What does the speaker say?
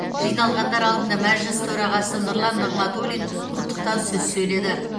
жиналғандар алдында мәжіліс төрағасы нұрлан нығматулин құттықтау сөз сөйледі